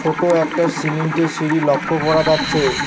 ছোট একটা সিমেন্টের সিঁড়ি লক্ষ করা যাচ্ছে।